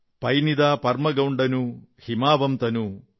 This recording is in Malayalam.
പൈന്നിദാ പർമെഗൊംഡനു ഹിമാവംതനു